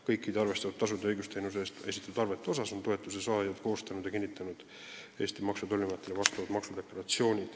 Kõikide arvestatud tasude kohta on toetuse saajad koostanud ja kinnitanud Maksu- ja Tolliametile saadetavad maksudeklaratsioonid.